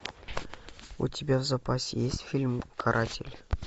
у тебя в запасе есть фильм каратель